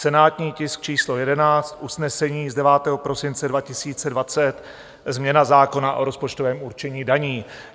Senátní tisk číslo 11, usnesení z 9. prosince 2020, změna zákona o rozpočtovém určení daní.